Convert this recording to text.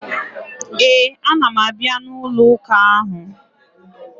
Ee, ana m abịa n'ụlọụka ahụ.